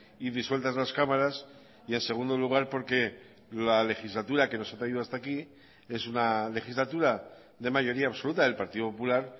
y disueltas las cámaras y en segundo lugar porque la legislatura que nos ha traído hasta aquí es una legislatura de mayoría absoluta del partido popular